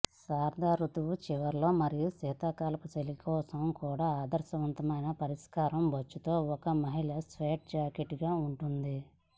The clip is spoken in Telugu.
శరదృతువు చివరిలో మరియు శీతాకాలపు చలి కోసం కూడా ఆదర్శవంతమైన పరిష్కారం బొచ్చుతో ఒక మహిళా స్వెడ్ జాకెట్టుగా ఉంటుంది